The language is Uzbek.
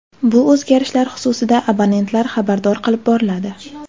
Bu o‘zgarishlar xususida abonentlar xabardor qilib boriladi.